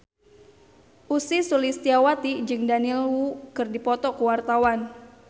Ussy Sulistyawati jeung Daniel Wu keur dipoto ku wartawan